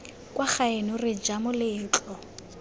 kwa gaeno re ja moletlo